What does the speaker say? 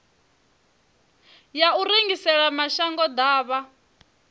ya u rengisela mashango ḓavha